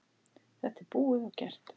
Þetta er búið og gert.